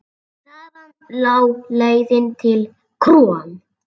Þaðan lá leiðin til KRON.